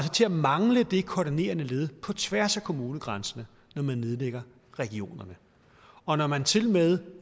til at mangle det koordinerende led på tværs af kommunegrænserne når man nedlægger regionerne og når man tilmed